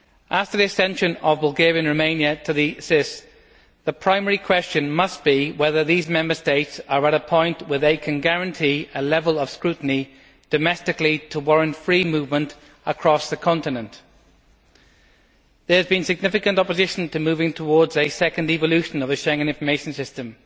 After the accession of Bulgaria and Romania to the SIS, the primary question must be whether these Member States are at a point where they can guarantee a level of scrutiny domestically to warrant free movement across the continent. There has been significant opposition to moving towards a second evolution of the Schengen Information System,